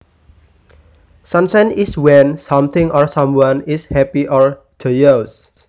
Sunshine is when something or someone is happy or joyous